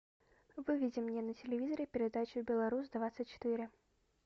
выведи мне на телевизоре передачу белорус двадцать четыре